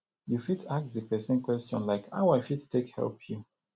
you fit ask di person question like how i fit take help you